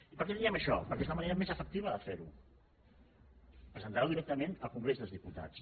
i per què diem això perquè és la manera més efectiva de fer ho presentar ho directament al congrés dels diputats